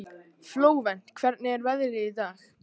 Flóvent, hvernig er veðrið í dag?